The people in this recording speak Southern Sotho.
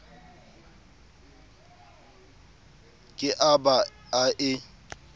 ke a ba a e